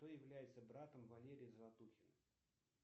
кто является братом валерия золотухина